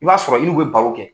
I b'a sɔrɔ i n'u bɛ baro kɛ.